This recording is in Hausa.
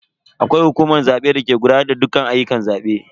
Akwai hukumar zabe dake gudanar da dukkan ayyukan zabe.